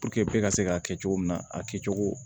ka se k'a kɛ cogo min na a kɛ cogo